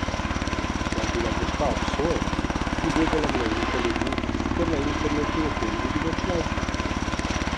Da je bila gospa obsojena, ni vedela množica ljudi, ker na internetu o tem ni bilo članka.